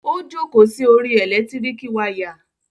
Ó jókòó sí orí ẹ̀lẹ́tíríkì wayà.